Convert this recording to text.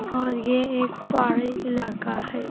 और ये एक पहाड़ी इलाका है।